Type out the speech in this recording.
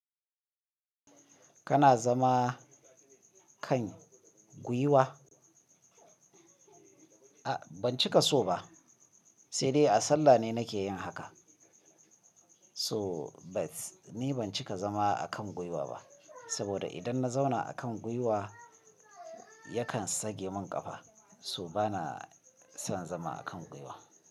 Kana zama kan guiwa? A ban cika so ba, sai dai a sallah ne nake yin haka. So bat ni ban cika zama a kan guiwa ba, saboda idan na zauna a kan guiwa yakan sage mun kafa. So bana son zama a kan guiwa.